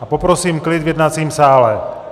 A poprosím klid v jednacím sále!